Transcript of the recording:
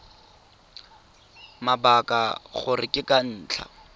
mabaka gore ke ka ntlha